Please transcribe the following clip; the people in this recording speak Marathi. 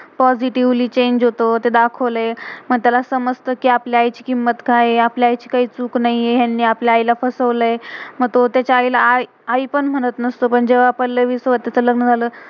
पोसितिवेली positively, चेंग change होतो, ते दाखवलय. मग त्याला समजतं, कि आपल्या आई ची किम्मत का्य आहे, आपल्या आई ची का्य चुक नाहीये. ह्यांनी आपल्या आई ला फसवलय. मग तो तेच्या आ~आई ला आई पण म्हणत नसतो. पण जेव्हा पल्लवी स्वाथाच च लग्न झालं